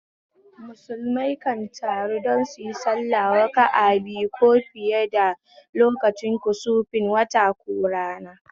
Musulmai kan taru don suyi sallah raka'a biyu ko fiye lokacin kusufin wata ko rana